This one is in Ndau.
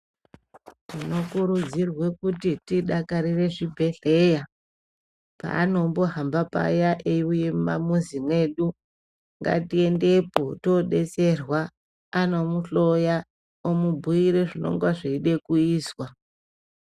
Tinokurudzirwe kuti tidakarire zvibhedhleya paanombohamba paya eiuye mumamuzi mwedu ngatiendepo toodetserwa , anomuhloya omubhuyire zvinonga zveide kuizwa.